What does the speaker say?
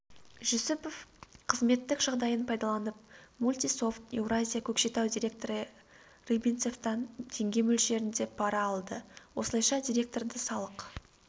жүсіпов қызметтік жағдайын пайдаланып мультисофт еуразия көкшетау директоры рыбинцевтан теңге мөлшерінде пара алды осылайша директорды салық